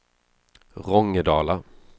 Rångedala